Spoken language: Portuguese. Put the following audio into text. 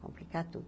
Complicar tudo.